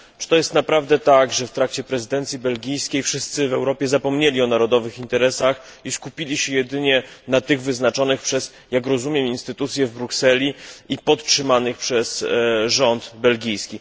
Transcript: Czy to jest na prawdę tak, że w trakcie prezydencji belgijskiej wszyscy w Europie zapomnieli o narodowych interesach i skupili się jedynie na tych wyznaczonych przez, jak rozumiem, instytucje w Brukseli i podtrzymanych przez rząd belgijski?